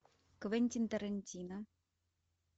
квентин тарантино